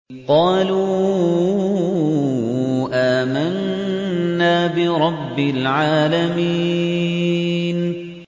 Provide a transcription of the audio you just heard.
قَالُوا آمَنَّا بِرَبِّ الْعَالَمِينَ